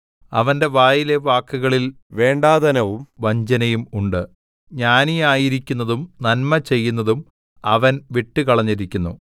അവന്റെ വായിലെ വാക്കുകളിൽ വേണ്ടാതനവും വഞ്ചനയും ഉണ്ട് ജ്ഞാനിയായിരിക്കുന്നതും നന്മചെയ്യുന്നതും അവൻ വിട്ടുകളഞ്ഞിരിക്കുന്നു